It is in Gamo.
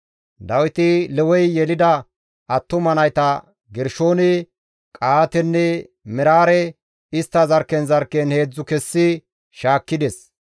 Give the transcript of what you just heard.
Dawiti Lewey yelida attuma nayta Gershoone, Qa7aatenne Meraare istta zarkken zarkken heedzdzu kessi shaakkides.